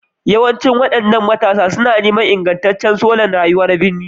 Yawancin waɗannan matasa suna neman ingantaccen salon rayuwa na birni,